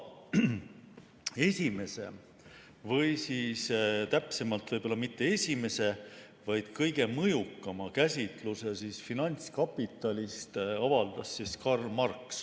Esimese või täpsemalt öeldes võib-olla mitte esimese, vaid kõige mõjukama käsitluse finantskapitalist avaldas Karl Marx.